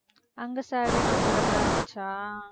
அங்க salary comfortable ஆ இருந்துச்சா